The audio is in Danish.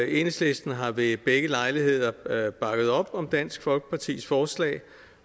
enhedslisten har ved begge lejligheder bakket op om dansk folkepartis forslag